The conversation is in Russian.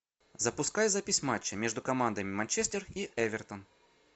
запускай запись матча между командами манчестер и эвертон